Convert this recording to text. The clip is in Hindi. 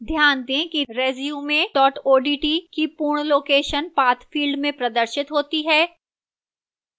ध्यान दें कि resume odt की पूर्ण location path field में प्रदर्शित होती है